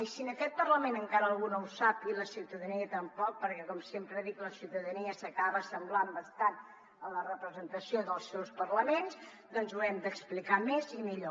i si en aquest parlament encara algú no ho sap i la ciutadania tampoc perquè com sempre dic la ciutadania s’acaba assemblant bastant a la representació dels seus parlaments doncs ho hem d’explicar més i millor